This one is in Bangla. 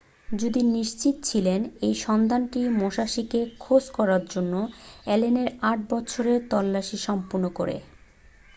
যদি নিশ্চিৎ ছিল এই সন্ধানটি মুশাসিকে খোঁজ করার জন্য অ্যালেনের আট বছর এর তল্লাসি সম্পূর্ণ করে